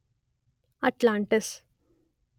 Atlantis